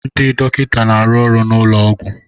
Ndị dọkịta na-arụ ọrụ n'ụlọ ọgwụ.